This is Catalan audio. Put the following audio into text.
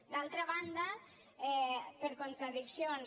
d’altra banda per contradiccions